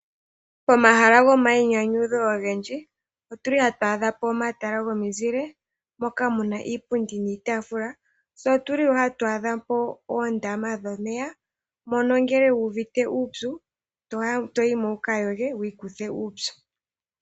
Pomahala gomayinyanyudho ogendji, otu li hatu adha po omatala gomizile, moka mu na iipundi niitaafula. Tse otu li wo hatu adha po oondama dhomeya, mono ngele wu uvite uupyu, to yi mo wu ka yoge wu ikuthe uupyu.